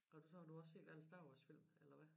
Går du så har du også set alle Star Wars-filmene eller hvad